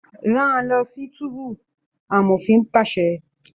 Rán lọ sí túbú! amofin paṣẹ